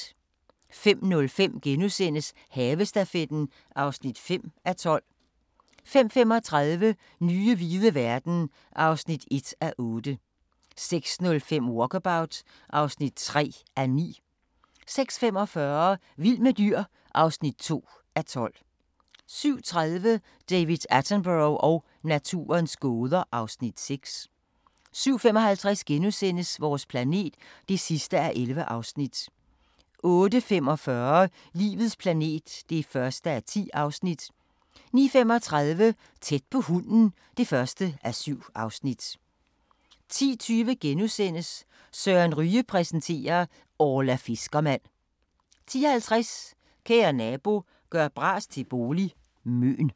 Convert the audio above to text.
05:05: Havestafetten (5:12)* 05:35: Nye hvide verden (1:8) 06:05: Walkabout (3:9) 06:45: Vild med dyr (2:12) 07:30: David Attenborough og naturens gåder (Afs. 6) 07:55: Vores planet (11:11)* 08:45: Livets planet (1:10) 09:35: Tæt på hunden (1:7) 10:20: Søren Ryge præsenterer: Orla fiskermand * 10:50: Kære nabo – gør bras til bolig – Møn